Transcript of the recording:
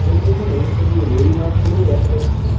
এই দোকানে শুধু রুই মাছগুলোই দেখা যাচ্ছে।